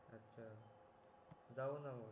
अच्छा जाऊ ना मग